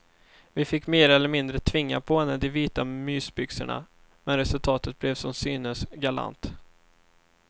Vi fick mer eller mindre tvinga på henne de vita mysbyxorna, men resultatet blev som synes galant.